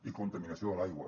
i contaminació de l’aigua